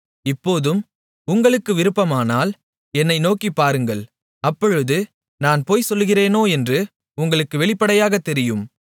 இப்போதும் உங்களுக்கு விருப்பமானால் என்னை நோக்கிப் பாருங்கள் அப்பொழுது நான் பொய்சொல்லுகிறேனோ என்று உங்களுக்கு வெளிப்படையாகத் தெரியும்